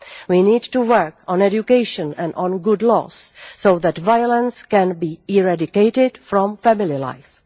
We need to work on education and on good laws, so that violence can be eradicated from family life.